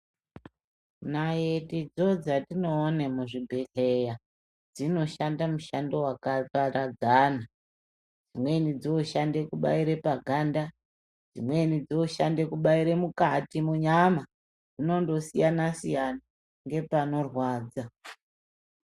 Naitidzo dzatinoona muzvibhedhleya dzinoshande mishando wakaparadzana mweni dzoshande kubaire paganda dzimweni dzinoshande kubaire mukati munyama zvinondosiyana siyana ngepanorwadza.